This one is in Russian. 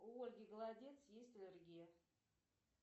у ольги голодец есть аллергия